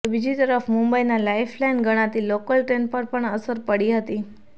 તો બીજી તરફ મુંબઈના લાઈફલાઈન ગણાતી લોકલ ટ્રેન પર પણ અસર પડી હતી